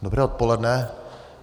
Dobré odpoledne.